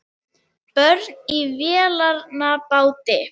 Börn í vélarvana báti